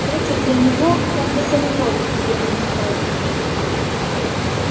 дача для него как бы санаторий где он отдыхает